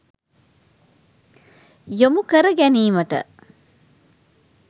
යොමු කර ගැනීමට